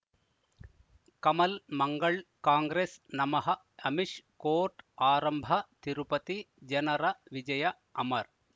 Kamal Mangal Congress ನಮಃ Amish court ಆರಂಭ ತಿರುಪತಿ ಜನರ ವಿಜಯ ಅಮರ್